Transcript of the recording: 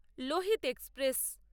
Lohit express